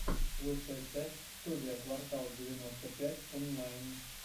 лучшая часть студия квартал девяносто пять онлайн